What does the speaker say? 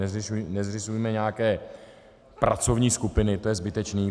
Nezřizujme nějaké pracovní skupiny, to je zbytečný.